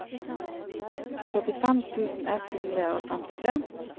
trettifem tusen ett hundre og femtitre